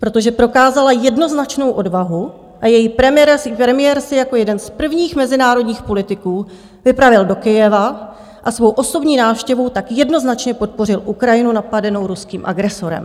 Protože prokázala jednoznačnou odvahu a její premiér se jako jeden z prvních mezinárodních politiků vypravil do Kyjeva a svou osobní návštěvou tak jednoznačně podpořil Ukrajinu napadenou ruským agresorem.